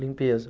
Limpeza.